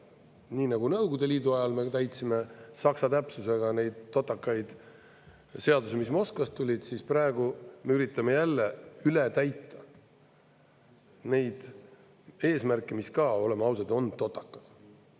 Nii nagu Nõukogude Liidu ajal me täitsime saksa täpsusega neid totakaid seadusi, mis Moskvast tulid, siis praegu me üritame jälle üle täita neid eesmärke, mis ka, oleme ausad, on totakad.